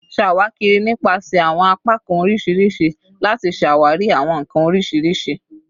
Ṣawakiri nipasẹ awọn apakan oriṣiriṣi lati ṣawari awọn nkan oriṣiriṣi